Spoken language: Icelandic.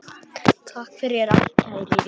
Takk fyrir allt kæri vinur.